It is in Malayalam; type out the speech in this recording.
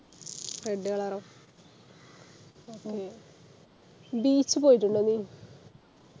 Red color ഓ beach പോയിട്ടുണ്ടോ നീ